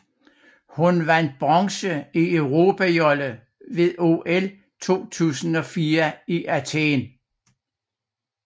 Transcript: Hun vandt bronze i europajolle ved OL 2004 i Athen